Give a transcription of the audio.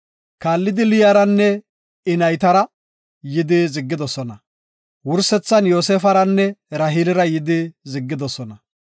Kaallidi Liyaranne I naytara yidi ziggidosona. Wursethan Yoosefaranne Raheelira yidi ziggidosona.